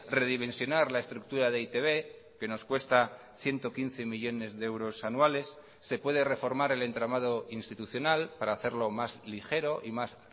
redimensionar la estructura de e i te be que nos cuesta ciento quince millónes de euros anuales se puede reformar el entramado institucional para hacerlo más ligero y más